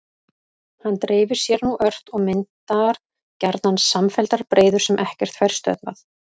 Hann dreifir sér nú ört og myndar gjarnan samfelldar breiður sem ekkert fær stöðvað.